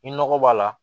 Ni nɔgɔ b'a la